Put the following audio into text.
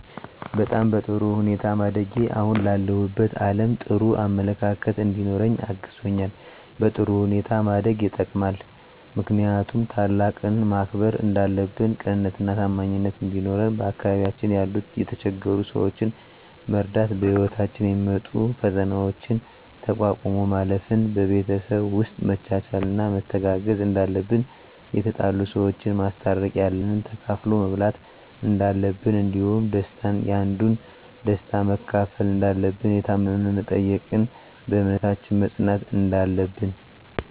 በጣም በጥሩ ሁኔታ ማደጌ አሁን ላለሁበት አለም ጥሩ አመለካከት እንዲኖረኝ አግዞኛል በጥሩ ሁኔታ ማደግ የጠቅማል ምክንያቱም ታላቅን ማክበር እንዳለብን ቅንነትና ታማኝነት እንዲኖረን በአካባቢያችን ያሉ የተቸገሩ ሰዎችን መርዳት በህይወታችን የሚመጡ ፈተናዎችን ተቋቁሞ ማለፍ ን በቤተሰብ ውስጥ መቻቻልና መተጋገዝ እንዳለብን የተጣሉ ሰዎችን ማስታረቅ ያለንን ተካፍሎ መብላት እንዳለብን እንዲሁም ደስታን ያንዱን ደስታ መካፈል እንዳለብን የታመመ መጠየቅን በእምነታችን መፅናት እንዳለብን